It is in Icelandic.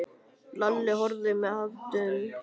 Lalli og horfði með aðdáun á vin sinn.